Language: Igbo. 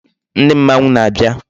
Ndi mmanwu na-abia